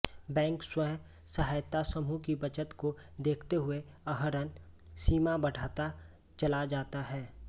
bank स्वयं सहायता समूह की बचत को देखते हुए आहरण सीमा बढ़ाता चला जाता है